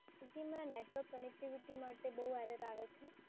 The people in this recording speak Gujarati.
network connectivity માટે બઉ error આવે છે.